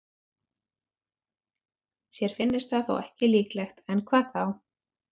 Sér finnist það þó ekki líklegt, en hvað þá?